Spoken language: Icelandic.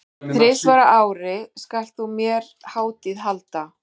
Þrisvar á ári skalt þú mér hátíð halda.